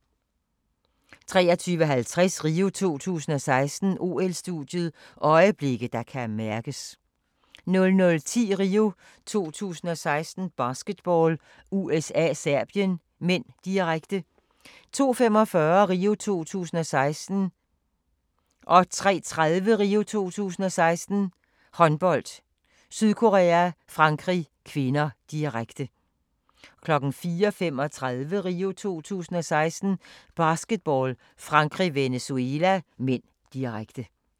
23:50: RIO 2016: OL-studiet – øjeblikke, der kan mærkes 00:10: RIO 2016: Basketball - USA-Serbien (m), direkte 02:45: RIO 2016: Håndbold - Sydkorea-Frankrig (k), direkte 03:30: RIO 2016: Håndbold - Sydkorea-Frankrig (k), direkte 04:35: RIO 2016: Basketball - Frankrig-Venezuela (m), direkte